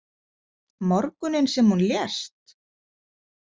Morgunninn sem hún lést?